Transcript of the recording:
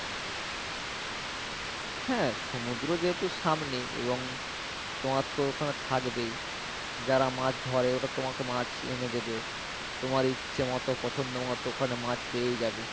হ্যাঁ সমুদ্র যেহেতু সামনে এবং তোমার তো ওখানে থাকবেই যারা মাছ ধরে ওরা তোমাকে মাছ এনে দেবে তোমার ইচ্ছে মতো পছন্দ মতো ওখানে মাছ পেয়ে যাবে